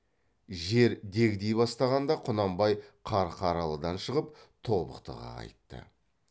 жер дегди бастағанда құнанбай қарқаралыдан шығып тобықтыға қайтты